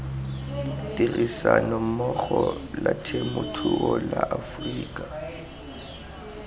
tirisanommogo la temothuo la aforika